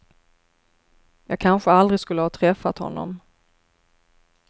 Jag kanske aldrig skulle ha träffat honom.